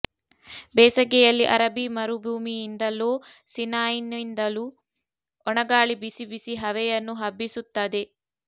ಬೇಸಗೆಯಲ್ಲಿ ಅರಬ್ಬೀ ಮರುಭೂಮಿಯಿಂದಲೋ ಸಿನಾಯ್ನಿಂದಲೋ ಒಣಗಾಳಿ ಬಿಸಿ ಬಿಸಿ ಹವೆಯನ್ನು ಹಬ್ಬಿಸುತ್ತದೆ